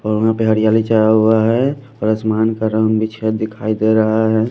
और वहां पे हरियाली चढ़ा हुआ है और आसमान का रंग बिछा दिखाई दे रहा है।